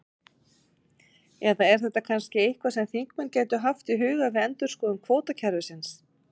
Eða er þetta kannski eitthvað sem þingmenn gætu haft í huga við endurskoðun kvótakerfisins?